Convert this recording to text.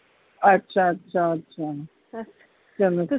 ਅੱਛਾ ਅੱਛਾ ਅੱਛਾ ਚਲੋ